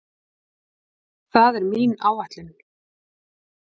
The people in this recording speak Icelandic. Það er mín áætlun